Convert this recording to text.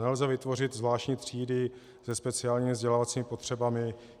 Nelze vytvořit zvláštní třídy se speciálními vzdělávacími potřebami.